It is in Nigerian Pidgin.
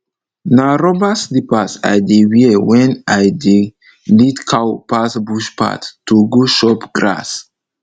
na rubber slippers i dey wear wen i dey lead cow pass bush path to go chop grass